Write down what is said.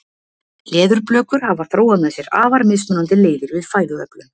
leðurblökur hafa þróað með sér afar mismunandi leiðir við fæðuöflun